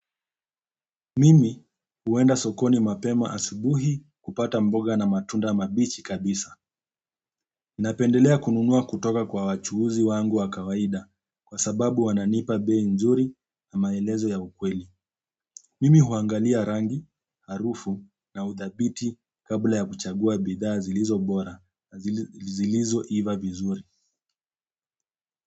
Mimi huenda sokoni mapema asubuhi kupata mboga na matunda mabichi kabisa ninapendelea kununua kutoka kwa wachuuzi wangu wa kawaida kwa sababu wananipa bei nzuri na maelezo ya ukweli. Mimi huangalia rangi, harufu na uthabiti kabla ya kuchagua bidhaa zilizo bora na zilizoiva vizuri.